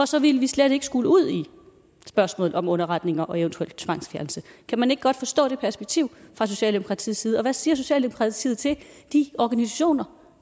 så ville vi slet ikke skulle ud i spørgsmål om underretninger og eventuelt tvangsfjernelse kan man ikke godt forstå det perspektiv fra socialdemokratiets side og hvad siger socialdemokratiet til de organisationer